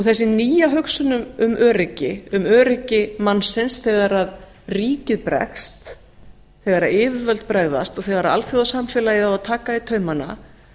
þessi nýja hugsun má öryggi um öryggi mannsins þegar ríkið bregst þegar yfirvöld bregðast og þegar alþjóðasamfélagið á að taka í taumana